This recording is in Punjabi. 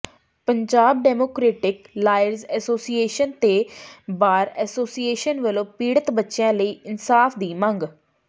ਪੰਜਾਬ ਡੈਮੋਕਰੇਟਿਕ ਲਾਇਰਜ਼ ਐਸੋਸੀਏਸ਼ਨ ਤੇ ਬਾਰ ਐਸੋਸੀਏਸ਼ਨ ਵਲੋਂ ਪੀੜਤ ਬੱਚੀਆਂ ਲਈ ਇਨਸਾਫ਼ ਦੀ ਮੰਗ